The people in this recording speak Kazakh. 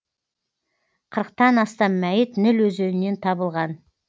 қырықтан астам мәйіт ніл өзенінен табылған